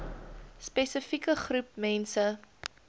spesifieke groep mense